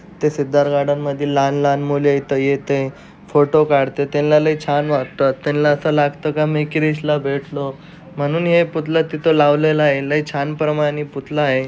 ते सिद्धार्थ गार्डन मधील लहान-लहान मुले इथं येतोय फोटो काढता त्यांना लय छान वाटतात. त्यांना असं लागतं का मी क्रिश ला भेटलो. म्हणून है पुतळा तिथे लावलेला आहे. लय छान प्रमाणे पुतला आहे.